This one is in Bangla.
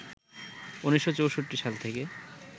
১৯৬৪ সাল থেকে